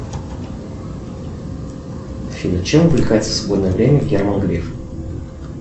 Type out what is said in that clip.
афина чем увлекается в свободное время герман греф